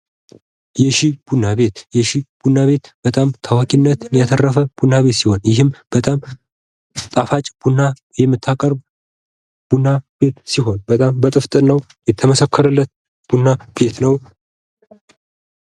የሺ ቡና ቤት በጣም ታዋቂነትን ያተረፈ ቡና ቤት ሲሆን ይህም በጣም ጣፋጭ የምታፈላው በጣም በጥፍትናው የተመሰከረለት ቡና ቤት ነው።